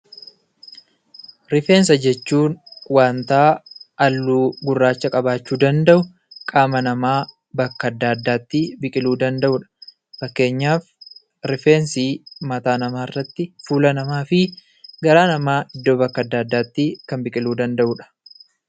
Rifeensa jechuun waantaa halluu gurraacha qabaachuu danda'u, qaama namaa bakka adda addaattii biqiluu danda'udha. Fakkeenyaaf rifeensii mataa namaarratti, fuula namaafi garaa namaa iddoo bakka adda addaattii kan biqiluu danda'udha.